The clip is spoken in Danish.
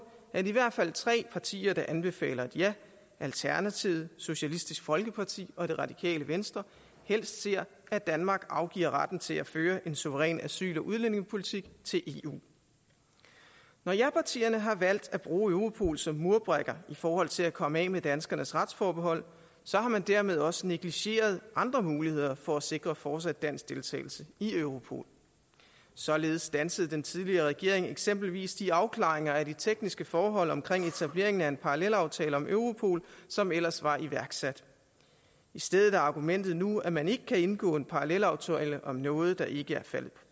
at i hvert fald tre partier der anbefaler et ja alternativet socialistisk folkeparti og det radikale venstre helst ser at danmark afgiver retten til at føre en suveræn asyl og udlændingepolitik til eu når japartierne har valgt at bruge europol som murbrækker i forhold til at komme af med danskernes retsforbehold har man dermed også negligeret andre muligheder for at sikre fortsat dansk deltagelse i europol således standsede den tidligere regering eksempelvis de afklaringer af de tekniske forhold omkring etableringen af en parallelaftale om europol som ellers var iværksat i stedet er argumentet nu at man ikke kan indgå en parallelaftale om noget der ikke er faldet